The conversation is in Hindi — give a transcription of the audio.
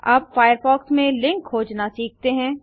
अब फायरफॉक्स में लिंक्स खोजना सीखते हैं